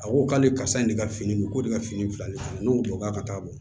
A ko k'ale karisa ye ne ka fini ko de ka fini fila ye ne ko k'a ka taa bɔ